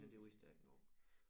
Men det vidste jeg ikke nu